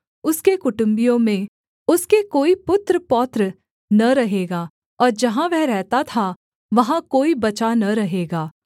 उसके कुटुम्बियों में उसके कोई पुत्रपौत्र न रहेगा और जहाँ वह रहता था वहाँ कोई बचा न रहेगा